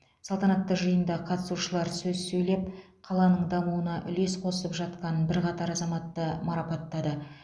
салтанатты жиында қатысушылар сөз сөйлеп қаланың дамуына үлес қосып жатқан бірқатар азаматты марапаттады